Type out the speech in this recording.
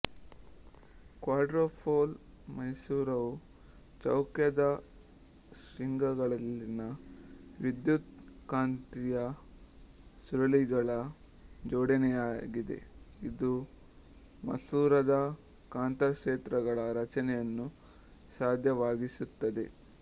quadrupole ಮಸೂರವು ಚೌಕದ ಶೃಂಗಗಳಲ್ಲಿನ ವಿದ್ಯುತ್ಕಾಂತೀಯ ಸುರುಳಿಗಳ ಜೋಡಣೆಯಾಗಿದೆ ಇದು ಮಸೂರದ ಕಾಂತಕ್ಷೇತ್ರಗಳ ರಚನೆಯನ್ನು ಸಾಧ್ಯವಾಗಿಸುತ್ತದೆ